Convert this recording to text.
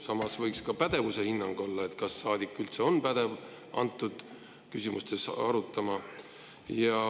Samas võiks ka pädevuse hinnang olla, kas saadik üldse on pädev antud küsimusi arutama.